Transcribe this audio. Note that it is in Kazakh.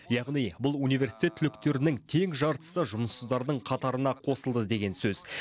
яғни бұл университет түлектерінің тең жартысы жұмыссыздардың қатарына қосылды деген сөз